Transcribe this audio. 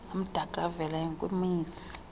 amdaka avela kwimizi